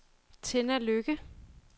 Tenna Lykke